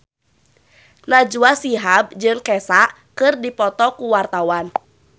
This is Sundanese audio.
Najwa Shihab jeung Kesha keur dipoto ku wartawan